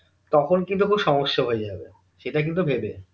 তখন কিন্তু খুব সমস্যা হয়ে যাবে সেটা কিন্তু ভেবে